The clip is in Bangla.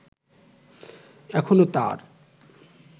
এখনো তার